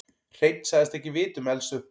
Hreinn sagðist ekki vita um eldsupptök